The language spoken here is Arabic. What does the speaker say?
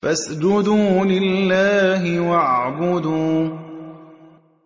فَاسْجُدُوا لِلَّهِ وَاعْبُدُوا ۩